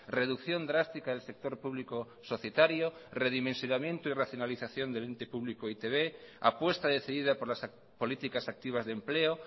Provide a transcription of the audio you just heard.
reducción drástica del sector público societario redimensionamiento y racionalización del ente público e i te be apuesta decidida por las políticas activas de empleo